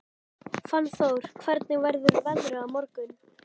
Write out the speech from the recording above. Fannþór, hvernig verður veðrið á morgun?